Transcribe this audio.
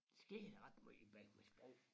Sker der ret meget i Bækmarksbro?